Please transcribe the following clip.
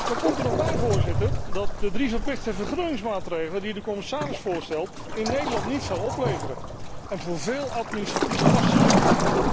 Dan komt er nog bij, Voorzitter, dat de drie verplichte vergroeningsmaatregelen die de commissaris voorstelt, in Nederland niets zullen opleveren en voor vele administratieve lasten zorgen.